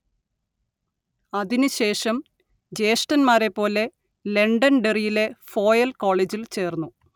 അതിനു ശേഷം ജ്യേഷ്ഠന്മാരെപ്പോലെ ലണ്ടൻഡെറിയിലെ ഫോയൽ കോളേജിൽ ചേർന്നു